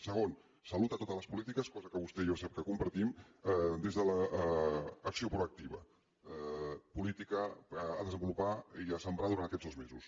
segon salut a totes les polítiques cosa que vostè i jo sap que compartim des de l’acció proactiva política a desenvolupar i a sembrar durant aquests dos mesos